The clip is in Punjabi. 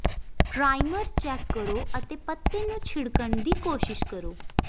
ਪਰਾਈਮਰ ਚੈੱਕ ਕਰੋ ਅਤੇ ਪੱਤੇ ਨੂੰ ਛਿੜਕਣ ਦੀ ਕੋਸ਼ਿਸ਼ ਕਰੋ